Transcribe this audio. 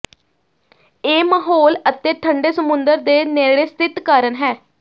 ਇਹ ਮਾਹੌਲ ਅਤੇ ਠੰਡੇ ਸਮੁੰਦਰ ਦੇ ਨੇੜੇ ਸਥਿਤ ਕਾਰਨ ਹੈ